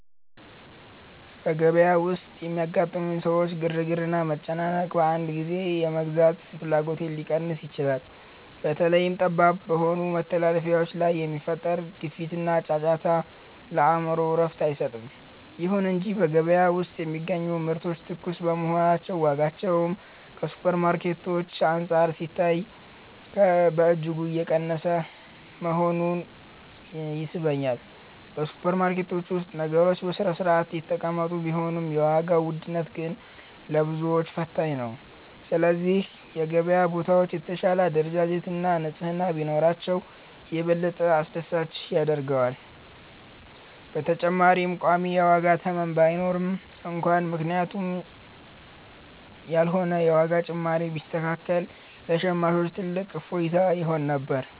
በገበያ ውስጥ የሚያጋጥሙኝ የሰዎች ግርግርና መጨናነቅ፣ አንዳንድ ጊዜ የመግዛት ፍላጎቴን ሊቀንስ ይችላል። በተለይም ጠባብ በሆኑ መተላለፊያዎች ላይ የሚፈጠረው ግፊያና ጫጫታ፣ ለአእምሮ እረፍት አይሰጥም። ይሁን እንጂ በገበያ ውስጥ የሚገኙ ምርቶች ትኩስ መሆናቸውና ዋጋቸውም ከሱፐርማርኬቶች አንፃር ሲታይ በእጅጉ የቀነሰ መሆኑ ይስበኛል። በሱፐርማርኬቶች ውስጥ ነገሮች በሥርዓት የተቀመጡ ቢሆንም፣ የዋጋው ውድነት ግን ለብዙዎች ፈታኝ ነው። ስለዚህ የገበያ ቦታዎች የተሻለ አደረጃጀትና ንጽሕና ቢኖራቸው፣ የበለጠ አስደሳች ያደርገዋል። በተጨማሪም ቋሚ የዋጋ ተመን ባይኖርም እንኳን፣ ምክንያታዊ ያልሆነ የዋጋ ጭማሪ ቢስተካከል ለሸማቹ ትልቅ እፎይታ ይሆን ነበር።